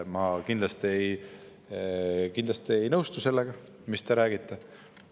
Ma kindlasti ei nõustu sellega, mis te räägite.